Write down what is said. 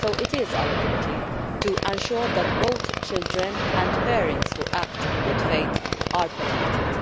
So it is our duty to ensure that both children and parents who act in good faith are protected.